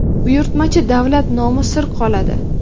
buyurtmachi davlat nomi sir qoladi.